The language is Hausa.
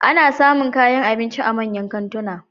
Ana samun kayan abinci a manyan kantuna.